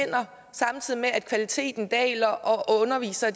samtidig med at kvaliteten daler og undervisere